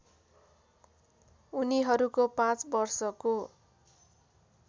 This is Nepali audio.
उनीहरूको पाँच वर्षको